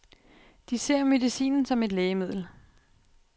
De ser medicinen som et lægemiddel.